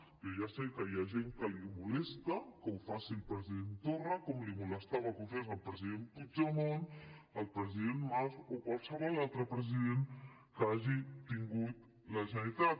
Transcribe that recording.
que ja sé que hi ha gent que li molesta que ho faci el president torra com li molestava que ho fes el president puigdemont el president mas o qualsevol altre president que hagi tingut la generalitat